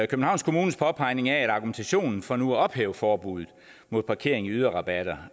københavns kommunes påpegning af at argumentationen for nu at ophæve forbuddet mod parkering i yderrabatter